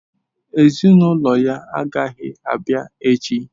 Ezinụlọ ya agaghị abịa echi.